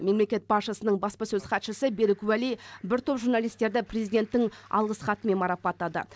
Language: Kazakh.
мемлекет басшысының баспасөз хатшысы берік уәли бір топ журналистерді президенттің алғыс хатымен марапаттады